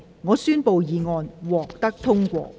我宣布議案獲得通過。